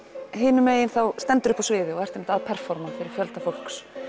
hinu megin stendurðu uppi á sviði og ert einmitt að fyrir fjölda fólks